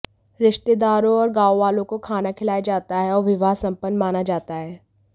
रिश्तेदारों और गांववालों को खाना खिलाया जाता है और विवाह संपन्न माना जाता है